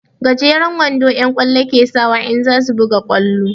Gejeren wando'yan ƙwallo ke sawa in za su buga ƙwallo.